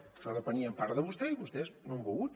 això depenia en part de vostè i vostès no han volgut